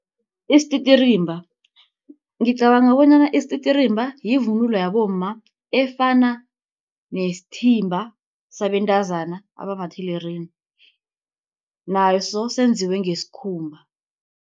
Isititirimba ngicabanga bonyana isititirimba yivunulo yabomma, efana nesithimba sabentazana abamathelerina naso senziwe ngesikhumba.